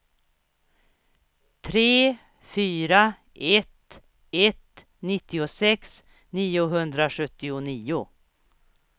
tre fyra ett ett nittiosex niohundrasjuttionio